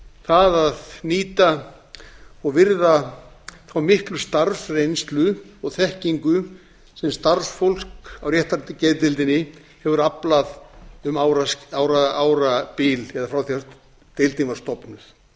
það að nýta og virða þá miklu starfsreynslu og þekkingu sem starfsfólk á réttargeðdeildinni hefur aflað um árabil eða frá því deildin var stofnuð það